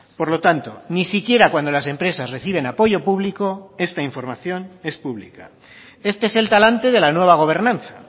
por lo tanto ni siquiera cuando las empresas reciben apoyo público esta información es pública este es el talante de la nueva gobernanza